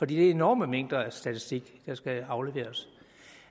det er enorme mængder af statistik der skal afleveres